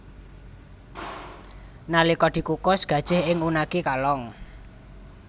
Nalika dikukus gajih ing unagi kalong